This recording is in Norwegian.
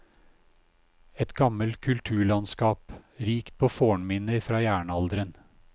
Et gammelt kulturlandskap, rikt på fornminner fra jernalderen.